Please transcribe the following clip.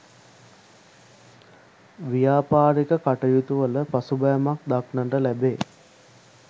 ව්‍යාපාරික කටයුතුවල පසුබෑමක් දක්නට ලැබේ.